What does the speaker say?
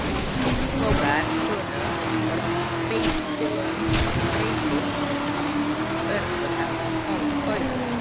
Skógar þurru og beitilönd breyttust í örfoka auðn.